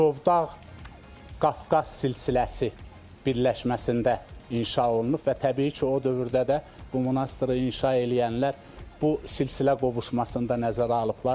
Murovdağ Qafqaz silsiləsi birləşməsində inşa olunub və təbii ki, o dövrdə də bu monastırı inşa eləyənlər bu silsilə qovuşmasında nəzərə alıblar.